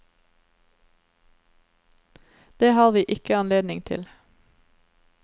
Det har vi ikke anledning til.